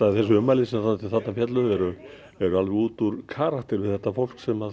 þessi ummæli sem þarna féllu eru alveg út úr karakter við þetta fólk sem